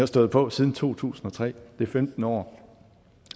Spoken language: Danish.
stået på siden to tusind og tre det er femten år